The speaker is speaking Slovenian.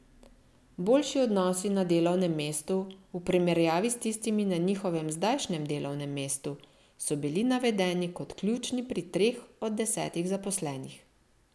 Boljši odnosi na delovnem mestu v primerjavi s tistimi na njihovem zdajšnjem delovnem mestu so bili navedeni kot ključni pri treh od desetih zaposlenih.